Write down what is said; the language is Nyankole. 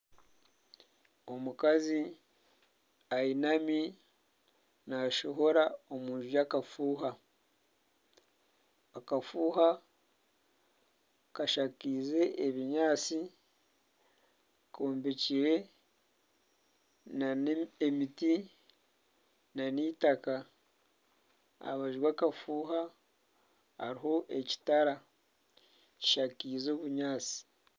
Omukazi ayinami naashohora omu nju yaakafuuha, akafuuha kashakiize ebinyaatsi, kombekire nana emiti nana itaka aha rubaju rw'akafuuna hariho ekitara kishakaize obunyaatsi